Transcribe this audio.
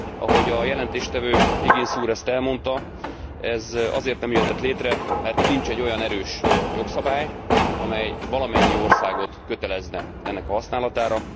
Ahogy a jelentéstevő Higgins úr ezt elmondta, ez azért nem jöhetett létre, mert nincs egy olyan erős jogszabály, amely valamennyi országot kötelezné ennek a használatára.